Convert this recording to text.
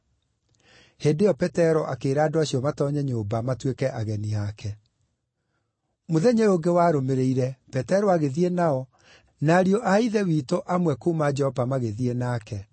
Hĩndĩ ĩyo Petero akĩĩra andũ acio matoonye nyũmba matuĩke ageni aake. Petero Gũthiĩ gwa Korinelio Mũthenya ũyũ ũngĩ warũmĩrĩire Petero agĩthiĩ nao, na ariũ a Ithe witũ amwe kuuma Jopa magĩthiĩ nake.